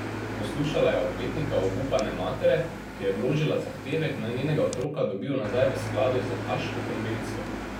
Poslušala je odvetnika obupane matere, ki je vložila zahtevek, naj njenega otroka dobijo nazaj v skladu s haaško konvencijo.